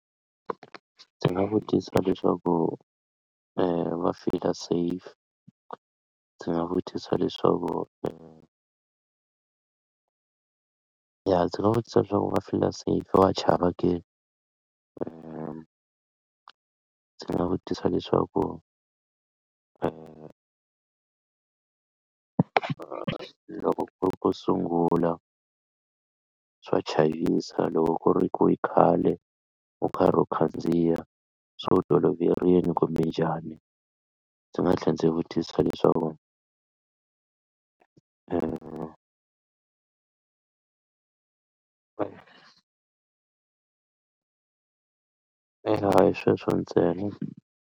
Ndzi nga vutisa leswaku va fila safe ndzi nga vutisa leswaku i ya ndzi nga vutisa leswaku va fila sefa va ndzi nga vutisa leswaku loko ku ri ku sungula swa chavisa loko ku ri ku khale u karhi u khandziya se u toloverile kumbe njhani ndzi nga tlhela ndzi vutisa leswaku a hi sweswo ntsena.